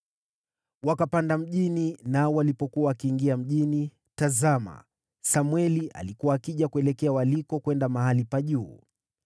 Wakapanda mjini, nao walipokuwa wakiingia mjini, tazama, Samweli alikuwa akija kuelekea walikokwenda mahali pa juu.